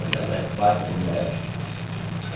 Olha lá, é quatro metros.